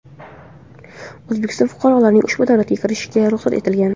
O‘zbekiston fuqarolarining ushbu davlatga kirishiga ruxsat etilgan.